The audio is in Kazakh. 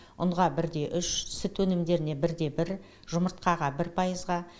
ұнға бір де үш сүт өнімдеріне бір де бір жұмыртқаға бір пайызға